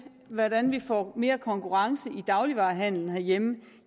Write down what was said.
hvordan vi får mere konkurrence i dagligvarehandelen herhjemme